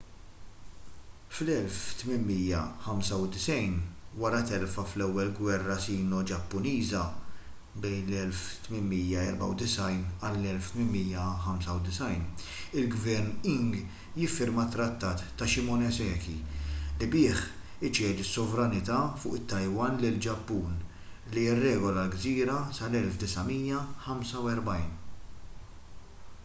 fl-1895 wara telfa fl-ewwel gwerra sino-ġappuniża 1894-1895 il-gvern qing jiffirma t-trattat ta’ shimonoseki li bih iċedi s-sovranità fuq it-taiwan lill-ġappun li jirregola l-gżira sal-1945